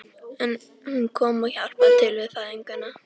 En hún kom og hjálpaði til við fæðinguna.